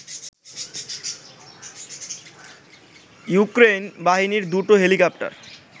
Ukraine বাহিনীর দুটো helicopter